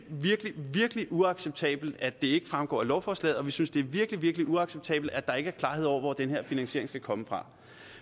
virkelig virkelig uacceptabelt at det ikke fremgår af lovforslaget og vi synes det er virkelig virkelig uacceptabelt at der ikke er klarhed over hvor den her finansiering skal komme fra